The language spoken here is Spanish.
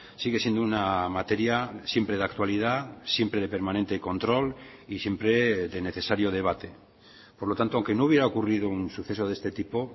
sigue siendo una materia siempre de actualidad siempre de permanente control y siempre de necesario debate por lo tanto aunque no hubiera ocurrido un suceso de este tipo